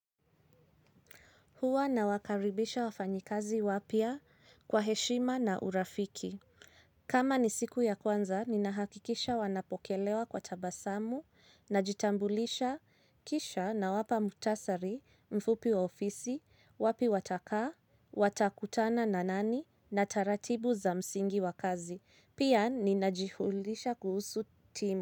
Huwa nawakaribisha wafanyikazi wapya kwa heshima na urafiki. Kama ni siku ya kwanza, ninahakikisha wanapokelewa kwa tabasamu najitambulisha kisha nawapa muhtasari mfupi wa ofisi wapi watakaa, watakutana na nani na taratibu za msingi wa kazi. Pia ninajihulisha kuhusu timu.